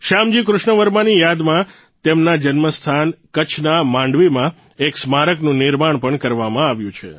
શ્યામજી કૃષ્ણ વર્માની યાદમાં તેમના જન્મસ્થાન કચ્છના માંડવીમાં એક સ્મારકનું નિર્માણ પણ કરવામાં આવ્યું છે